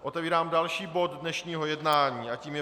Otevírám další bod dnešního jednání a tím je